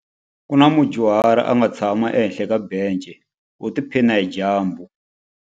Ku na mudyuhari a nga tshama ehenhla ka bence u tiphina hi dyambu.